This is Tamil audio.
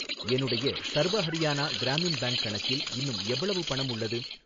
என்னுடைய சர்வ ஹரியானா கிராமின் பேங்க் கணக்கில் இன்னும் எவ்வளவு பணம் உள்ளது?